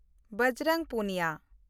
Bajrang Puniya